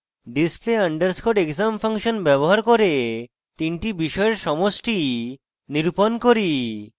display underscore exam function ব্যবহার করে তিনটি বিষয়ের সমষ্টি নিরূপণ করি